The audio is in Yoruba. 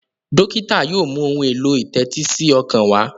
dókítà yóò mú Ohun èlò ìtẹ́tísí ọkàn wá.